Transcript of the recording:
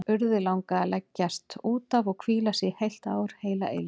Urði langaði að leggjast út af og hvíla sig, í heilt ár, heila eilífð.